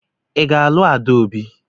Ị ga-alụ Adaobi?